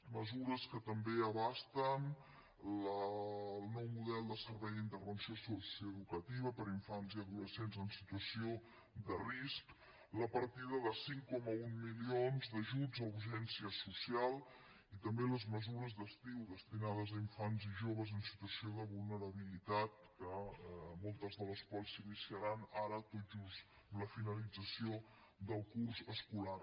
mesures que també abasten el nou model de servei d’intervenció socioeducativa per a infants i adolescents en situació de risc la partida de cinc coma un milions d’ajuts a urgència social i també les mesures d’estiu destinades a infants i joves en situació de vulnerabilitat que moltes de les quals s’iniciaran ara tot just amb la finalització del curs escolar